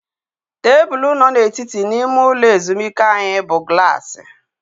Tebụl nọ n'etiti n'ime ụlọ ezumike anyị bụ glaasị